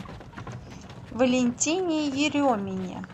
валентине еремине